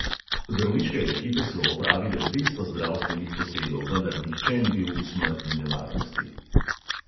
Zdravniške ekipe so opravile dvesto zdravstvenih posegov, vendar nihče ni bil v smrtni nevarnosti.